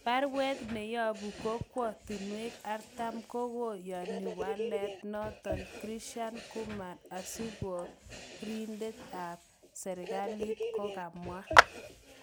Barwet neyobu kokwotunwek 40 kokoyoni walet noton, Krishan Kumar, asikoridet ab serkalit kokamwa.